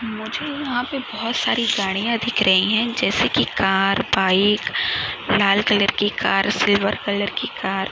मुझे यहाँ बहुत सारी गाड़िया दिख रही है जैसे की कार बाइक लाल कलर के कार सिल्वर कलर की कार.